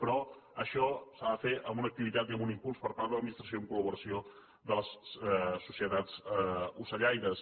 però això s’ha de fer amb una activitat i amb un impuls per part de l’administració en collaboració amb les societats ocellaires